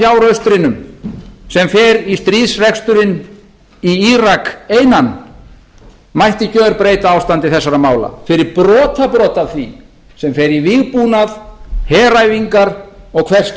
fyrir brot af fjáraustrinum sem fer í stríðsreksturinn í írak einan mætti gerbreyta ástandi þessara mála fyrir brotabrot af því sem fer í vígbúnað heræfingar og hvers